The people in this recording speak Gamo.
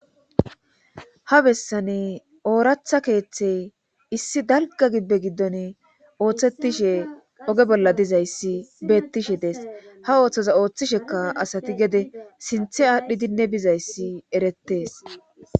Ha bessani ooratha keeththey issi dalga gibbe giddon ooththetishe oge bolla dizayssi beettishe dees ha ooththoza ooththisheka asati gede sinthe aadhdhidinne bizayssi erettees